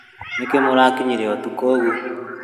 Nĩkĩĩ mũrakinyire ũtukũ ũguo?